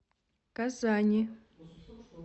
казани